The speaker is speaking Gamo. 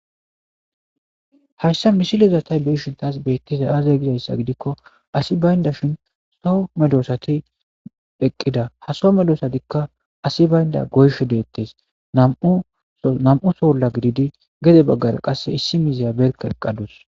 hayssa misilezatay beishin taas beettiza aaze gizayssa gidikko asi baynda shin so medoosati eqqida ha so medoosatikka asi baynda goyisho deettes nam7u soola gididi gede baggara qasse issi mizeya berka eqqadus